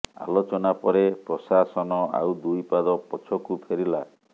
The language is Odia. ଆଲୋଚନା ପରେ ପ୍ରଶାସନ ଆଉ ଦୁଇ ପାଦ ପଛକୁ ଫେରିଲା